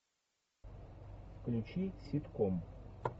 включи ситком